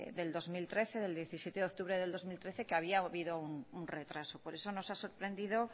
del dos mil trece del diecisiete de octubre del dos mil trece que había habido un retraso por eso nos ha sorprendido